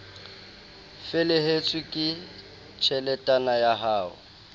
felehetswe ke tjheletana ya ho